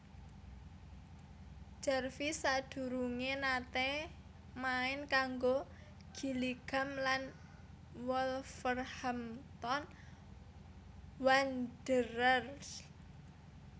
Jarvis sadurungé naté main kanggo Gillingham lan Wolverhampton Wanderers